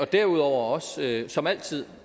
derudover også som altid